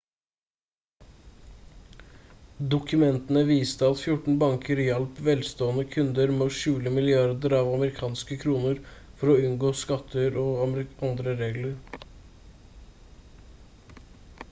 dokumentene viste at 14 banker hjalp velstående kunder med å skjule milliarder av amerikanske kroner for å unngå skatter og andre regler